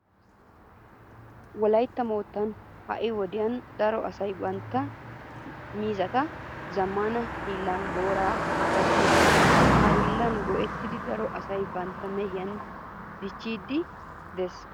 Wolaytta moottan ha"i wodiyan daro asay bantta miizzata zammaana hiillan booran gattoosona. Ha hiillan go"ettidi daro asay bantta mehiya dichchiiddi de'ees.